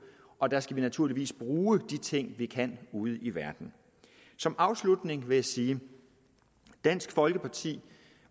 og der skal vi naturligvis bruge de ting vi kan ude i verden som afslutning vil jeg sige at dansk folkeparti